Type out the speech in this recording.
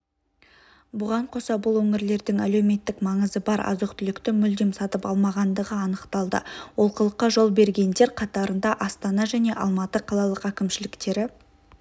бұған қоса бұл өңірлердің әлеуметтік маңызы бар азық-түлікті мүлдем сатып алмағандығы анықталды олқылыққа жол бергендер қатарында астана және алматы қалалық әкімшіліктері